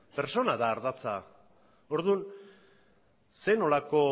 pertsona da ardatza orduan zer nolako